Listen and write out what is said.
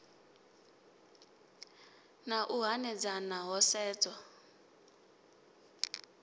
na u hanedzana ho sedzwa